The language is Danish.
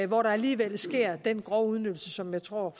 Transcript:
hvor der alligevel sker den grove udnyttelse som jeg tror